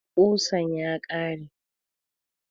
Ƙusan ya ƙare